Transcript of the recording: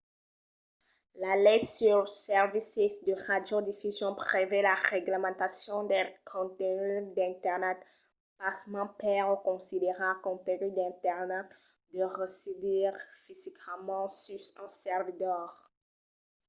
la lei suls servicis de radiodifusion prevei la reglamentacion del contengut d’internet pasmens per o considerar contengut d’internet deu residir fisicament sus un servidor